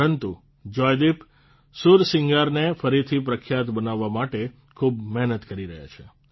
પરંતુ જોયદીપ સુરસિંગારને ફરીથી પ્રખ્યાત બનાવવા માટે ખૂબ મહેનત કરી રહ્યા છે